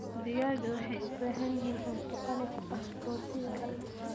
Digaagga waxay u baahan yihiin cunto qani ku ah borotiinka.